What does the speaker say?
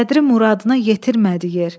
Sədri muradına yetirmədi yer.